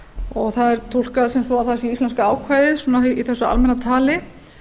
og það er túlka sem svo að það sé íslenska ákvæðið í þessu almenna tali